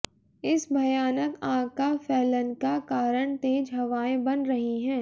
इस भयानक आग का फैलन का कारण तेज हवाएं बन रही हैं